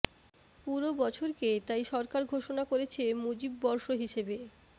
পুরো বছরকে তাই সরকার ঘোষণা করেছে মুজিববর্ষ হিসেবে